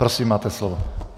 Prosím, máte slovo.